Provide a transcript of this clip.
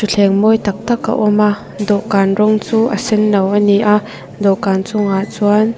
thleng mawi tak tak a awm a dawhkan rawng chu a senno a ni a dawhkan chungah chuan.